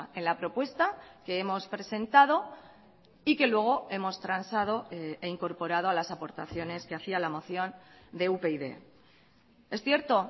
en la propuesta que hemos presentado y que luego hemos transado e incorporado a las aportaciones que hacía la moción de upyd es cierto